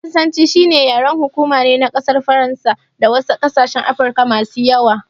Faransanci shine yaren hukuma ne na ƙasar faransa da wasu ƙasashen Afirka masu yawa.